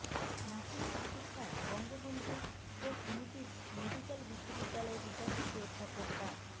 নাসিমের চিকিৎসায় বঙ্গবন্ধু শেখ মুজিব মেডিক্যাল বিশ্ববিদ্যালয়ের উপাচার্য অধ্যাপক ডা